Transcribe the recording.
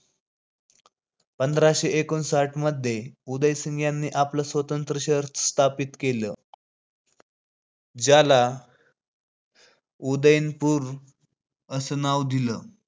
पंधराशे एकोणसाठमध्ये उदय सिंह यांनी आपला स्वतंत्र शहर स्थापित केला ज्याला उदयपूर असं नाव दिलं.